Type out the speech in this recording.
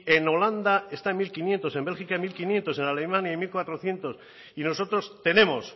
en el holanda esta mil quinientos en bélgica a mil quinientos en alemania hay mil cuatrocientos y nosotros tenemos